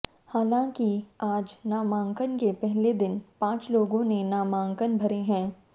हालांकि आज नामांकन के पहले दिन पांच लोगों ने नामांकन भरे हैं